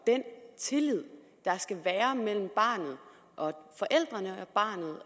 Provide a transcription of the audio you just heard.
den tillid der skal være mellem barnet og forældrene